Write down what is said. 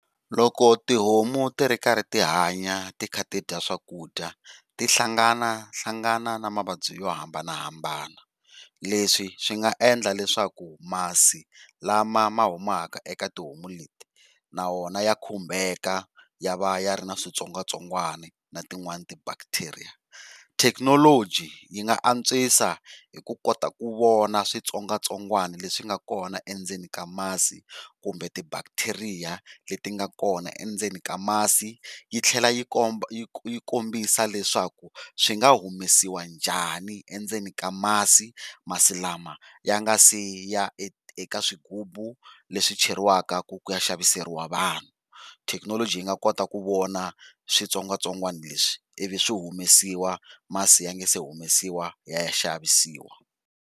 Loko tihomu ti ri karhi tihanya ti kha tidya swakudya ti hlangana hlangana na mavabyi yo hambanahambana, leswi swi nga endla leswaku masi lama mahumaka eka tihomu leti na wona ya khumbeka ya va ya ri na switsongwatsongwani na tin, wani ti bacteria. Technology yi nga antswisa hi ku kota ku vona switsongwatsongwani leswi swi nga kona endzeni ka masi kumbe ti bacteria leti nga kona endzeni ka masi, yitlhela yi komba yi kombisa leswaku swi nga humesiwa njhani endzeni ka masi masi lama ya nga siya eka eka swigubu leswi cheriwaka ku ya xaviseriwa vanhu. Technology yi nga kota ku vona switsongwatsongwana leswi i vi swihumesiwa masi ya nga se humesiwa ya ya xavisiwa.